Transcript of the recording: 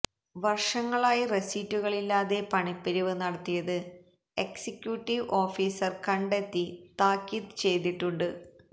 വര്ഷങ്ങളായി റസീറ്റുകളില്ലാതെ പണപ്പിരിവ് നടത്തിയത് എക്സിക്യൂട്ടീവ് ഓഫീസര് കണ്ടെത്തി താക്കീത് ചെയ്തിട്ടുണ്ട്